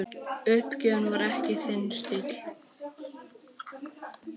Uppgjöf var ekki þinn stíll.